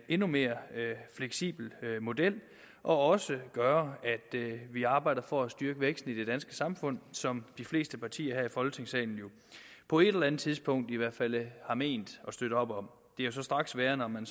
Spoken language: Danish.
endnu mere fleksibel model og også gøre at vi arbejder for at styrke væksten i det danske samfund som de fleste partier her i folketingssalen jo på et eller andet tidspunkt i hvert fald har ment at støtte op om det er straks værre når man